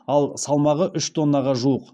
ал салмағы үш тоннаға жуық